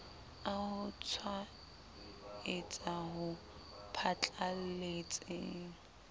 a ho tshwaetsa ho phatlalletseng